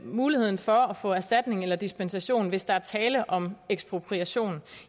muligheden for at få erstatning eller dispensation hvis der er tale om ekspropriation